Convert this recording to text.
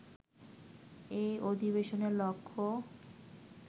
এই অধিবেশনের লক্ষ্য